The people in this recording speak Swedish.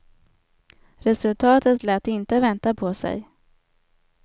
Resultatet lät inte vänta på sig.